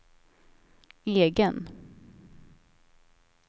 egen